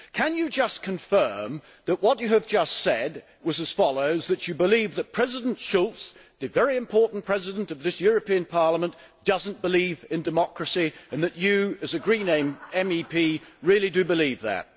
Can you just confirm that what you have just said was as follows that you believe that President Schulz, the very important President of this European Parliament, does not believe in democracy and that you, as a Green MEP, really do believe that?